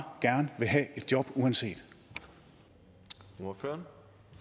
gerne vil have et job uanset hvad